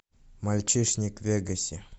мальчишник в вегасе